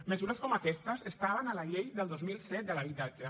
mesures com aquestes estaven a la llei del dos mil set de l’habitatge